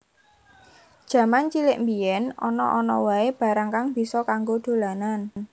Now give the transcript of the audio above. Jaman cilik mbiyen ana ana wae barang kang bisa kanggo dolanan